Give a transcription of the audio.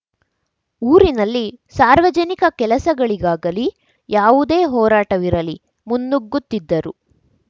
ಊರಿನಲ್ಲಿ ಸಾರ್ವಜನಿಕ ಕೆಲಸಗಳಿಗಾಗಲೀ ಯಾವುದೇ ಹೋರಾಟವಿರಲಿ ಮುನ್ನುಗ್ಗುತ್ತಿದ್ದರು